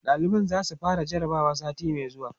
ɗaliban zasu fara jarabawa sati Mai zuwa